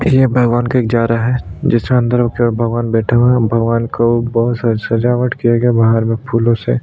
ये भगवान के जा रहा है जिसमे अंदर होकर भगवान बैठे हुए भगवान को बहुत सजावट किया गया बाहर में फूलों से--